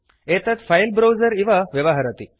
एतत् file browser इव व्यवहरति